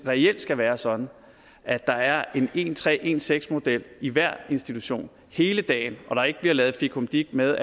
reelt skal være sådan at der er en en tre en seks model i hver institution hele dagen og der ikke bliver lavet fikumdik med